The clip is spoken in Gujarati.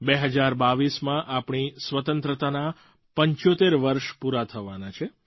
2022માં આપણી સ્વતંત્રતાનાં 75 વર્ષ પૂરાં થવાનાં છે